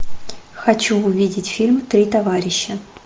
хочу увидеть фильм три товарища